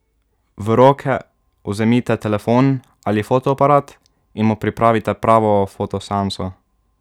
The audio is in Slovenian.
V roke vzemite telefon ali fotoaparat in mu pripravite pravo fotoseanso.